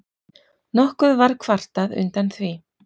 Nokkuð var kvartað undan því